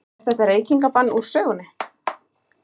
Er þetta reykingabann úr sögunni?